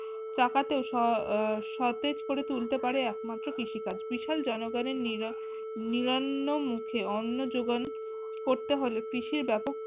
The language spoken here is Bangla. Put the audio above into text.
চাকাতে ও আহ স সতেজ করে তুলতে পারে একমাএ কৃষি কাজ বিশাল জনগণের নিরা নিরান্ন মুখে অন্য যোগান করতে হলে কৃষির ব্যাপক